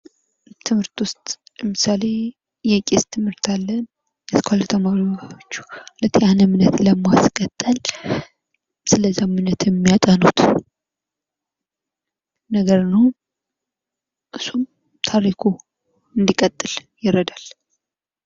ትምህርት ውስጥ ለምሳሌ የቄስ ትምህርት አለ። ልክ ያን እምነት ለማስቀጠል ስለዛ እምነት የሚያጠኑት ነገር ነው። እሱም ታሪኩ እንድቀጥል ይረዳል።